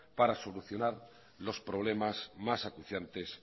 para solucionar los problemas más acuciantes